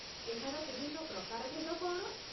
ଏହାର ବିଭିନ୍ନ ପ୍ରକାରଭେଦ କ'ଣ?